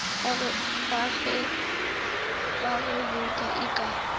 ga ge bouto e ka